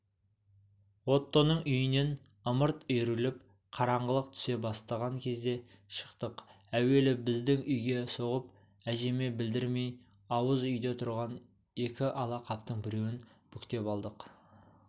оттоның үйінен ымырт үйіріліп қараңғылық түсе бастаған кезде шықтық әуелі біздің үйге соғып әжеме білдірмей ауыз үйде тұрған екі ала қаптың біреуін бүктеп алдық